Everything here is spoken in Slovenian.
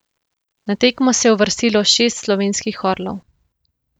Na tekmo se je uvrstilo šest slovenskih orlov.